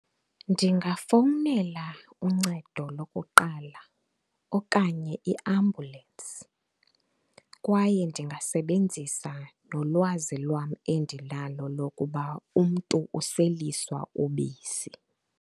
Ndingafowunela uncedo lokuqala okanye iambhyulensi kwaye ndingasebenzisa nolwazi lwam endinalo lokuba umntu useliswa ubisi.